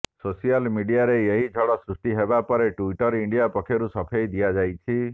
social ମିଡିଆରେ ଏହି ଝଡ଼ ସୃଷ୍ଟି ହେବା ପରେ ଟ୍ବିଟର ଇଣ୍ଡିଆ ପକ୍ଷରୁ ସଫେଇ ଦିଆଯାଇଛି